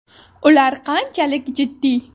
Ular qanchalik jiddiy?.